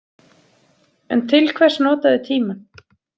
En til hvers nota þau tímann?